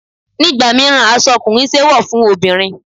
Nígbà míràn, aṣọ ọkùnrin ṣe é wọ̀ fún obìnrin.